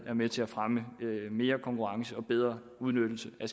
er med til at fremme mere konkurrence og bedre udnyttelse af